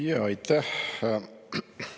Jaa, aitäh!